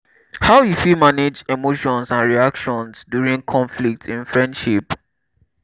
how you fit manage emotions and reactions during conflict in friendship?